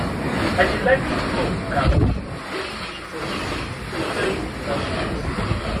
i dey like give crop gap make e e for easy to clear weed without stress